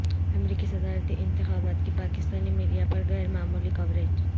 امریکی صدارتی انتخابات کی پاکستانی میڈیا پر غیر معمولی کوریج